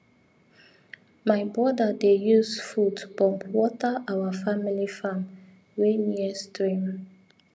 my brother dey use foot pump water our family farm wey near stream